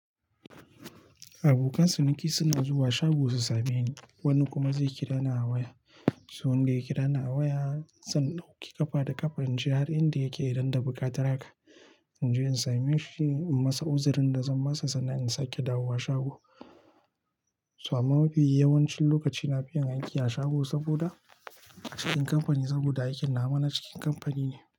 Abokan ciniki suna zuwa shago su same ni, wani kuma zai kira ni a waya. Sai wanda ya kira ni a waya, zan ɗauki ƙafa da ƙafa in je har inda yake idan da buƙatar haka, in je in same shi, in masa uzirin da zan masa sannan in sake dawowa shago. So amma mafi yawancin lokaci na fi yin aiki a shago saboda cikin kamfani saboda aikin nawa na cikin kamfani ne.